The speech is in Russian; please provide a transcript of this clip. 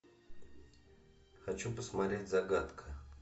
хочу посмотреть загадка